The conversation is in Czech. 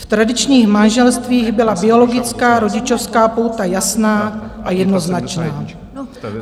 V tradičních manželstvích byla biologická rodičovská pouta jasná a jednoznačná.